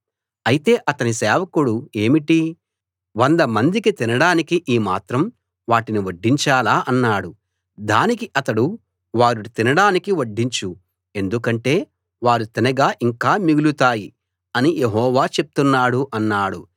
అయితే అతని సేవకుడు ఏమిటీ వందమందికి తినడానికి ఈ మాత్రం వాటిని వడ్డించాలా అన్నాడు దానికి అతడు వారు తినడానికి వడ్డించు ఎందుకంటే వారు తినగా ఇంకా మిగులుతాయి అని యెహోవా చెప్తున్నాడు అన్నాడు